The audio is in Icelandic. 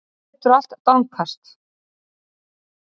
Það lætur allt dankast.